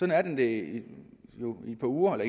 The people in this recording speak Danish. er den det jo i et par uger